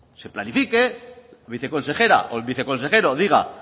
se planifique la viceconsejera o el viceconsejero diga